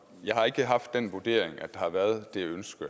jeg har ikke haft den vurdering at der har været det ønske